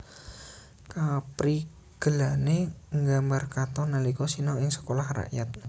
Kaprigelané nggambar katon nalika sinau ing Sekolah Rakyat